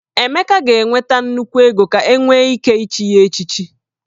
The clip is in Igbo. Emeka ga-enweta nnukwu ego ka enwe ike ichi ye echichi